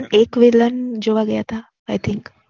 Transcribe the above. એક વિલન જોવા ગયાતા આઈ થિન્ક